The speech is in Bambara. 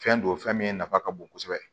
Fɛn don fɛn min nafa ka bon kosɛbɛ